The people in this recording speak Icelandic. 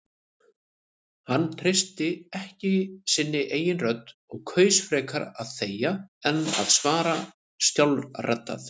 Hann treysti ekki sinni eigin rödd og kaus frekar að þegja en að svara skjálfraddað.